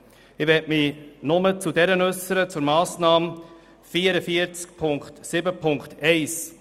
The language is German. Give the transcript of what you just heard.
Ich möchte mich zu jener betreffend die Massnahme 44.7.1 äussern: